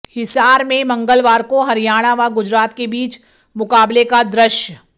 हिसार में मंगलवार को हरियाणा व गुजरात के बीच मुकाबले का दृश्य